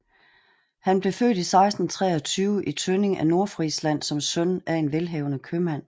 Han blev født i 1623 i Tønning i Nordfrisland som søn af en velhavende købmand